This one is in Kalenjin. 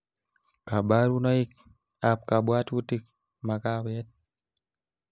kabarunoikab kabwatutik makawet